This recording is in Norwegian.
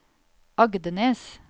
Agdenes